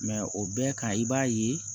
o bɛɛ ka i b'a ye